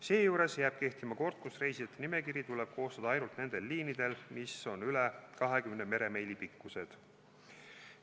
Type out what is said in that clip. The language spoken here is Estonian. Seejuures jääb kehtima kord, kus reisijate nimekiri tuleb koostada ainult nendel liinidel, mis on üle 20 meremiili pikkused.